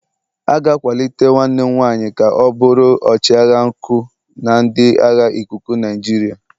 A ga-akwalite nwanne m nwanyị ka ọ bụrụ ọchịagha nku na ndị agha ikuku Nigeria.